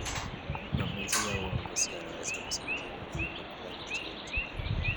Mafunzo ya uongozi yanaweza kusaidia wakulima kuwa na sauti.